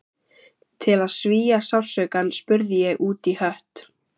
Til að svía sársaukann spurði ég útí hött